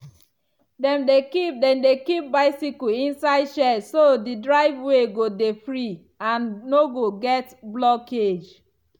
dem dey keep dem dey keep bicycle inside shed so the driveway go dey free and no go get blockage.